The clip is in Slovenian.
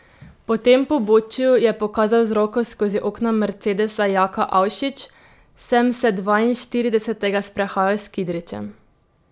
Po tem pobočju, je pokazal z roko skozi okno mercedesa Jaka Avšič, sem se dvainštiridesetega sprehajal s Kidričem.